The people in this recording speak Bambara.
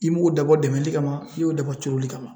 I m'o dabɔ dɛmɛli kama, i y'o dabɔ turoli kama.